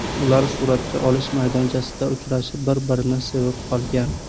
Ular suratga olish maydonchasida uchrashib, bir-birini sevib qolgan.